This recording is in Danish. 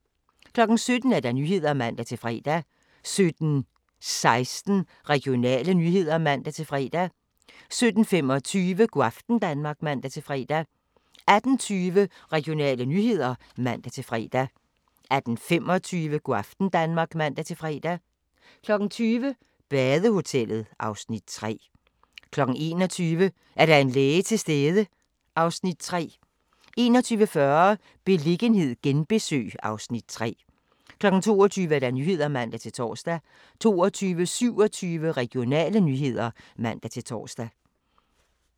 17:00: Nyhederne (man-fre) 17:16: Regionale nyheder (man-fre) 17:25: Go' aften Danmark (man-fre) 18:20: Regionale nyheder (man-fre) 18:25: Go' aften Danmark (man-fre) 20:00: Badehotellet (Afs. 3) 21:00: Er der en læge til stede? (Afs. 3) 21:40: Beliggenhed genbesøg (Afs. 3) 22:00: Nyhederne (man-tor) 22:27: Regionale nyheder (man-tor)